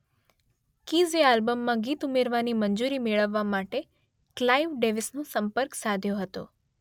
કીઝે આલ્બમમાં ગીત ઉમેરવાની મંજૂરી મેળવવા માટે ક્લાઇવ ડેવિસનો સંપર્ક સાધ્યો હતો.